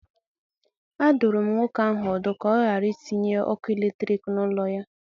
A dụrụ m nwoke ahụ ọdụ ka ọ ghara itinye ọkụ eletrik n'ụlọ ya.